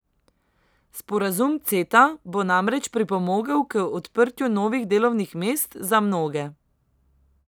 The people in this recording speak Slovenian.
Sporazum Ceta bo namreč pripomogel k odprtju novih delovnih mest za mnoge.